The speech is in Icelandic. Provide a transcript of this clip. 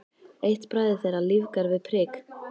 Eitt bragðið þeirra lífgar við prik.